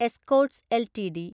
Escorts LTD